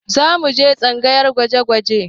Za mu je tsangayar gwaje-gwaje